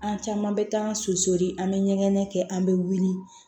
An caman bɛ taa an susuli an bɛ ɲɛgɛn kɛ an bɛ wuli